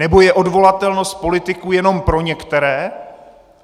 Nebo je odvolatelnost politiků jenom pro některé?